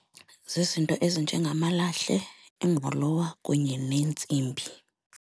Zizinto ezinjengamalahle, ingqolowa kunye neentsimbi.